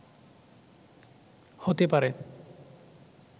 হতে পারে